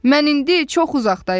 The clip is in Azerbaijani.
Mən indi çox uzaqdayam.